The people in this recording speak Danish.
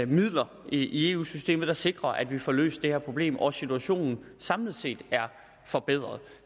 midler i eu systemet der sikrer at vi får løst det her problem og at situationen samlet set er forbedret